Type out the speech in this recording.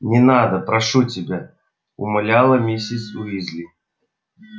не надо прошу тебя умоляла миссис уизли